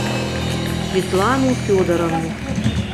светлану федоровну